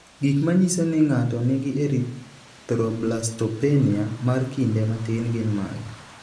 Gik manyiso ni ng'ato nigi erythroblastopenia mar kinde matin gin mage?